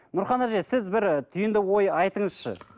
нұрхан әже сіз бір түйінді ой айтыңызшы